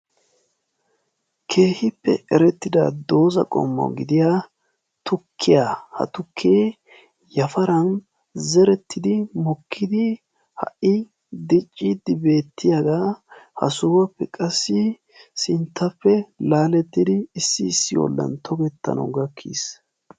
keehippe erettida dooza qommo gidiya tukkiyaa. ha tukkee yafaran zerettidi mokkidi ha77i dicci dibeettiyaagaa ha sohuwaappe qassi sinttappe laalettidi issi issi oollan tokettanawu gakkiis.